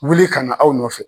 Wuli ka na aw nɔfɛ